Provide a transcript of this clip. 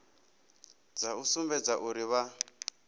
dza u sumbedza uri vha